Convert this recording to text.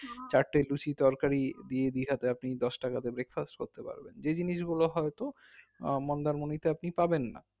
চারটে লুচি তরকারি দিয়ে দীঘাটে আপনি দশটাকা তে breakfast করতে পারবেন যে জিনিস গুলো হয়তো আহ মন্দারমণীতে আপনি পাবেন না